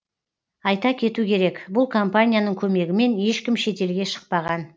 айта кету керек бұл компанияның көмегімен ешкім шетелге шықпаған